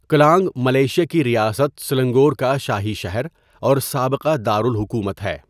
کلانگ Malaysia کی ریاست Selangor کا شاہی شہر اور سابقہ دارالحکومت ہے.